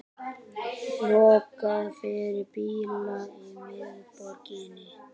Lokað fyrir bíla í miðborginni